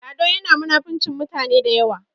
Lado yana munafincin mutane da yawa